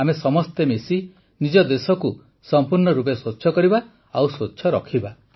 ଆମେ ସମସ୍ତେ ମିଶି ନିଜ ଦେଶକୁ ସମ୍ପୂର୍ଣ୍ଣ ରୂପେ ସ୍ୱଚ୍ଛ କରିବା ଓ ସ୍ୱଚ୍ଛ ରଖିବା